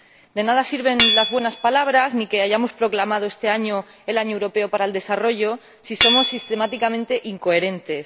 De nada sirven las buenas palabras, ni que hayamos proclamado este año el Año Europeo del Desarrollo, si somos sistemáticamente incoherentes.